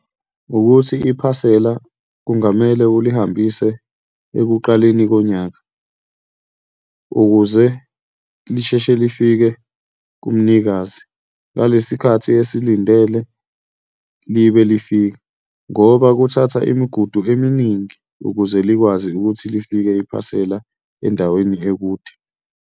Ukuthi iphasela kungamele ulihambise ekuqaleni konyaka ukuze lisheshe lifike kumnikazi, ngalesi khathi esilindele libe lifika, ngoba kuthatha imigudu eminingi ukuze likwazi ukuthi lifike iphasela endaweni ekude.